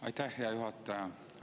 Aitäh, hea juhataja!